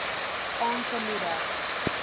aan te moedig